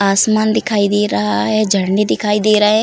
आसमान दिखाई दे रहा है। झरने दिखाई दे रहे --